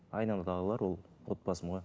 айнадағылар ол отбасым ғой